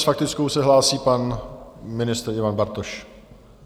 S faktickou se hlásí pan ministr Ivan Bartoš.